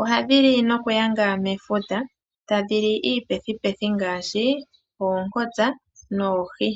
ohadhi li nokuyanga mefuta tadhi li iipethupethu ngaashi oonkonkolosa noohi.